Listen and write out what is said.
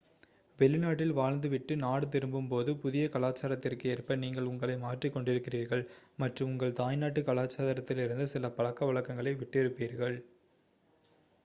வெளிநாட்டில் வாழ்ந்து விட்டு நாடு திரும்பும் போது புதிய கலாச்சாரத்திற்கு ஏற்ப நீங்கள் உங்களை மாற்றிக் கொண்டிருக்கிறீர்கள் மற்றும் உங்கள் தாய்நாட்டு கலாச்சாரத்திலிருந்து சில பழக்கவழக்கங்களை விட்டிருப்பீர்கள்